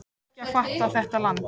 Ég er ekki að fatta þetta land.